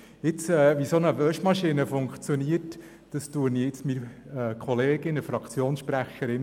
Zu erläutern, wie eine solche Geld-Waschmaschine funktioniert, überlasse ich meiner Kollegin, der SP-Fraktionssprecherin.